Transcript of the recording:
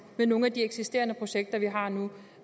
i nogle af de eksisterende projekter vi har nu